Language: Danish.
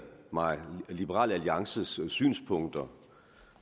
mig liberal alliances synspunkter